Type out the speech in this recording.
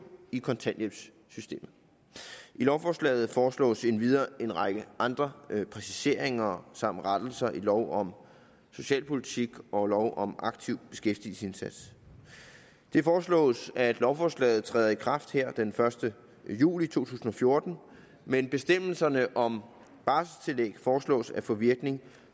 i kontanthjælpssystemet i lovforslaget foreslås endvidere en række andre præciseringer samt rettelser i lov om socialpolitik og lov om aktiv beskæftigelsesindsats det foreslås at lovforslaget træder i kraft den første juli to tusind og fjorten men bestemmelserne om barselstillæg foreslås at få virkning